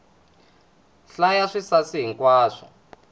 hlaya swisasi hi nkwaswo